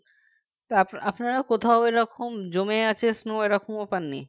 আপনারা কোথাও এরকম জমে আছে snow এরকমও পাননি